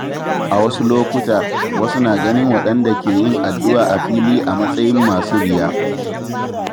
A wasu lokuta, wasu na ganin waɗanda ke yin addu’a a fili a matsayin masu riya.